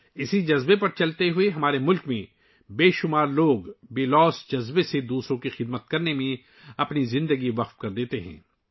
اس جذبے کی پیروی کرتے ہوئے، ہمارے ملک میں بے شمار لوگ بے لوث دوسروں کی خدمت میں اپنی زندگیاں وقف کر دیتے ہیں